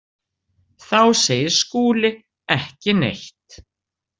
Þá segir Skúli ekki neitt.